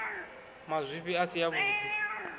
mazwifhi a si a vhudi